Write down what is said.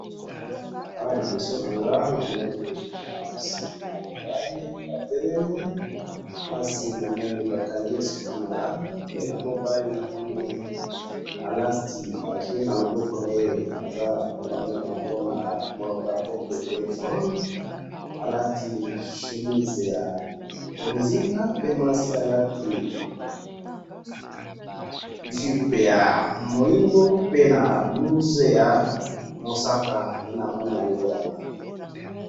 Awa liboso na ngai na moni mwasi na mobali batelemi, mwasi bakangi ye suki malamu, mobali asimbi telephone na loboko, alati chemise ya bozinga, mwasi alati jupe ya mohindo pe na blouse ya mosaka nde na moni yango wana